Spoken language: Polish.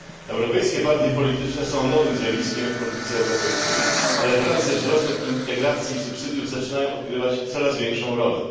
Europejskie partie polityczne są nowym zjawiskiem w polityce europejskiej, ale wraz ze wzrostem integracji i subsydiów zaczynają odgrywać coraz większą rolę.